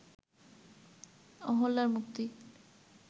অহল্যার মুক্তির